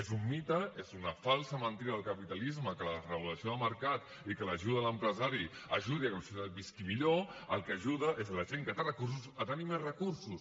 és un mite és una falsa mentida del capitalisme que la desregulació de mercat i que l’ajuda a l’empresari ajudi a que la societat visqui millor al que ajuda és a la gent que té recursos a tenir més recursos